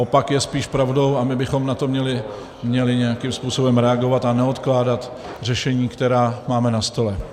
Opak je spíš pravdou a my bychom na to měli nějakým způsobem reagovat a neodkládat řešení, která máme na stole.